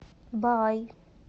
баай